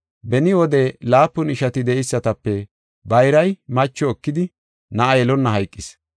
Beni wode laapun ishati de7eysatape bayray macho ekidi, na7a yelonna hayqis.